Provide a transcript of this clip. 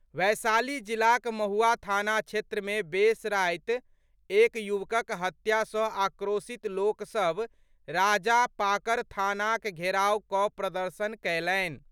वैशाली जिलाक महुआ थाना क्षेत्र मे बेस राति एक युवकक हत्या सँ आक्रोशित लोक सभ राजापाकर थानाक घेराव कऽ प्रदर्शन कयलनि।